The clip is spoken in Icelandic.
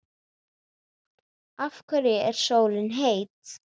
Af hverju er sólin heit?